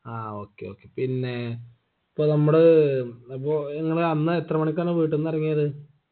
ആ okay okay പിന്നെ ഇപ്പൊ നമ്മള് അപ്പൊ നിങ്ങള് അന്ന് എത്ര മണിക്കാണ് വീട്ടന്നെറങ്ങിയത്